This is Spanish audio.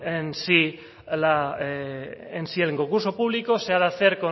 en si el concurso público se ha de hacer